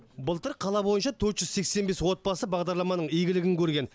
былтыр қала бойынша төрт жүз сексен бес отбасы бағдарламаның игілігін көрген